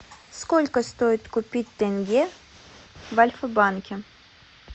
сколько стоит купить тенге в альфа банке